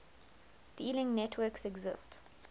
dealing networks exist